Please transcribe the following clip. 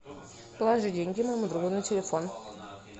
положи деньги моему другу на телефон